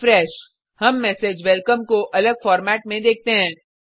refresh हम message welcome को अलग फॉर्मेट में देखते हैं